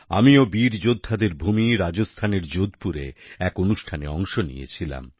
আমিও বীর যোদ্ধাদের ভূমি রাজস্থানের যোধপুরে এক অনুষ্ঠানে অংশ নিয়েছিলাম